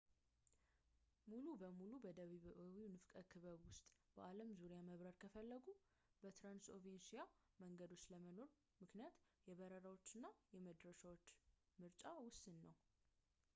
ሙሉ በሙሉ በደቡባዊው ንፍቀ ክበብ ሆኖ በአለም ዙሪያ መብረር ከፈለጉ በትራንስኦሺያን መንገዶች አለመኖር ምክንያት የበረራዎች እና የመድረሻዎች ምርጫ ውስን ነው